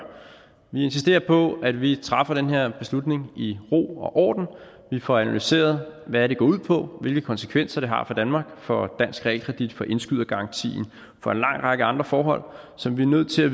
vi insisterer på at vi træffer den her beslutning i ro og orden at vi får analyseret hvad det går ud på hvilke konsekvenser det har for danmark for dansk realkredit for indskydergarantien for en lang række andre forhold som vi er nødt til at